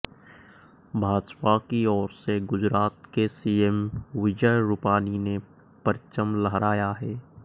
भाजपा की ओर से गुजरात के सीएम विजय रूपानी ने परचम लहराया है